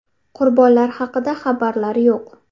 Qurbonlar haqida xabarlar yo‘q.